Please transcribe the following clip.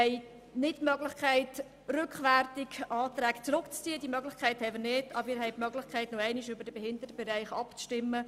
Wir haben keine Möglichkeit, Anträge rückwirkend zurückzuziehen, jedoch können wir nochmals über die Planungserklärungen betreffend den Behindertenbereich abstimmen.